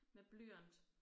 Med blyant